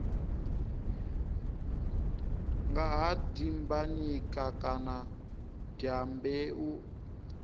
nga ha dimbanyika kana dyambeu